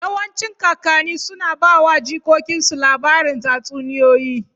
Yawancin kakanni suna ba wa jikokinsu labarin tatsuniyoyi.